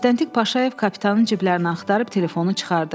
Müstəntiq Paşayev kapitanın ciblərini axtarıb telefonu çıxardı.